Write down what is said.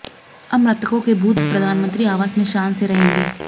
अब मृतकों के भूत प्रधानमंत्री आवास में शान से रहेंगे